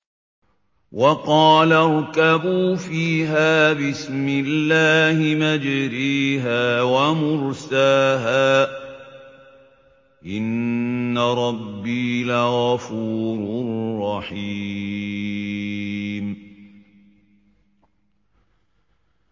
۞ وَقَالَ ارْكَبُوا فِيهَا بِسْمِ اللَّهِ مَجْرَاهَا وَمُرْسَاهَا ۚ إِنَّ رَبِّي لَغَفُورٌ رَّحِيمٌ